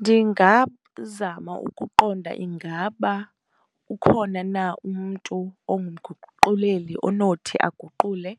Ndingazama ukuqonda, ingaba ukhona na umntu ongumguquleli onothi aguqule